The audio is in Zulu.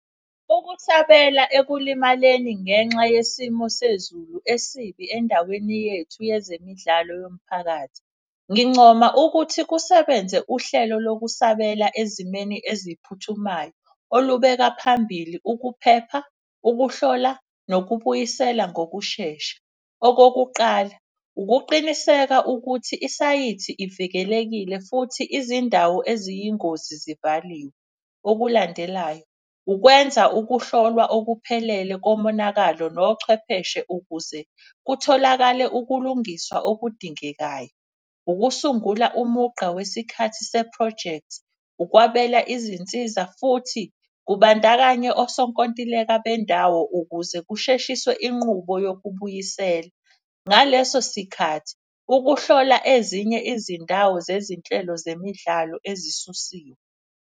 Ukusabela ekulimaleni ngenxa yesimo sezulu esibi endaweni yethu yezemidlalo yomphakathi. Ngincoma ukuthi kusebenze uhlelo lokusabela ezimeni eziphuthumayo olubeka phambili ukuphepha, ukuhlola nokubuyisela ngokushesha. Okokuqala ukuqiniseka ukuthi isayithi ivikelekile futhi izindawo eziyingozi zivaliwe. Okulandelayo ukwenza ukuhlolwa okuphelele komonakalo nochwepheshe ukuze kutholakale ukulungiswa okudingekayo. Ukusungula umugqa wesikhathi sephrojekthi, ukwabelana izinsiza futhi kubandakanya osonkontileka bendawo. Ukuze kushiswe inqubo yokubuyisela, ngaleso sikhathi ukuhlola ezinye izindawo zezinhlelo zemidlalo ezisusiwe.